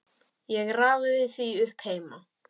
Ég raðaði því upp heima.